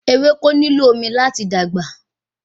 Ewéko nílò omi láti dàgbà